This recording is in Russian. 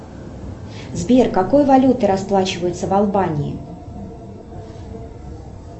сбер какой валютой расплачиваются в албании